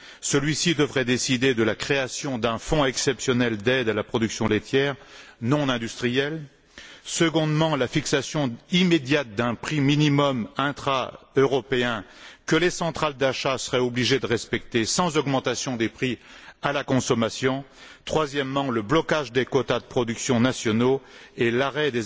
Celui ci devrait décider, premièrement, de la création d'un fonds exceptionnel d'aide à la production laitière non industrielle, deuxièmement, de la fixation immédiate d'un prix minimum intraeuropéen que les centrales d'achat seraient obligées de respecter sans augmentation des prix à la consommation, et troisièmement, du blocage des quotas de production nationaux et de l'arrêt